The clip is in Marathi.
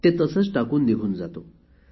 ते तसेच टाकून निघून जातो